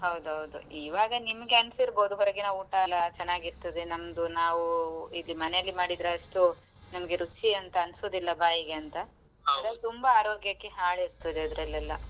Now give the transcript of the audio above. ಹೌದೌದು ಇವಾಗ ನಿಮಗೆ ಅನ್ಸಿರ್ಬೋದು ಹೊರಗಿನ ಊಟಲಾ ಚನ್ನಾಗಿರ್ತದೆ ನಂದು ನಾವು ಇದು ಮನೇಲಿ ಮಾಡಿದ್ರೆ ಅಷ್ಟು ನಮ್ಗೆ ರುಚಿಯಂತ ಅನ್ಸೋದಿಲ್ಲ ಬಾಯ್ಗೆ ಅಂತ ತುಂಬ ಆರೋಗ್ಯಕ್ಕೆ ಹಾಳಿರ್ತದೆ ಅದ್ರಲ್ಲೆಲ್ಲ.